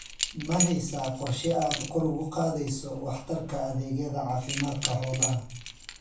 Ma haysaa qorshe aad kor ugu qaadayso waxtarka adeegyada caafimaadka xoolaha?